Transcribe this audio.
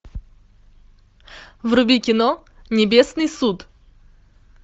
вруби кино небесный суд